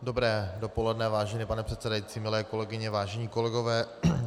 Dobré dopoledne, vážený pane předsedající, milé kolegyně, vážení kolegové.